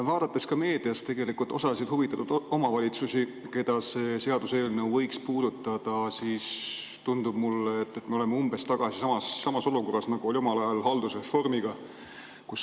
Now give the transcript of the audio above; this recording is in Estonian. Vaadates ka meedias tegelikult osa huvitatud omavalitsuste, keda see seaduseelnõu võiks puudutada, tundub mulle, et me oleme umbes tagasi samas olukorras, nagu olime omal ajal haldusreformiga.